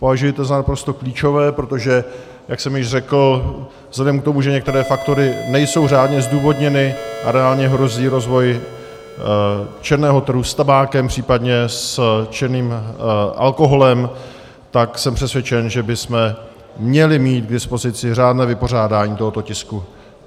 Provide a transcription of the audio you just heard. Považuji to za naprosto klíčové, protože jak jsem již řekl, vzhledem k tomu, že některé faktory nejsou řádně zdůvodněny a reálně hrozí rozvoj černého trhu s tabákem, případně s černým alkoholem, tak jsem přesvědčen, že bychom měli mít k dispozici řádné vypořádání tohoto tisku.